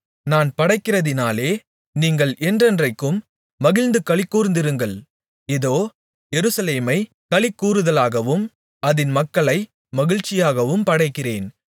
நான் படைக்கிறதினாலே நீங்கள் என்றென்றைக்கும் மகிழ்ந்து களிகூர்ந்திருங்கள் இதோ எருசலேமைக் களிகூருதலாகவும் அதின் மக்களை மகிழ்ச்சியாகவும் படைக்கிறேன்